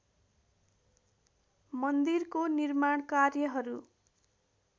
मन्दिरको निर्माण कार्यहरू